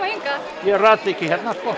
ég rata ekki hérna sko